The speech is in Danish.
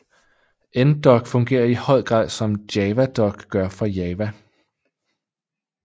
NDoc fungerer i høj grad som JavaDoc gør for Java